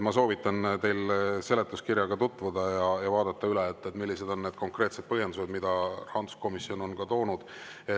Ma soovitan teil seletuskirjaga tutvuda ja vaadata üle, millised on need konkreetsed põhjendused, mida rahanduskomisjon on toonud.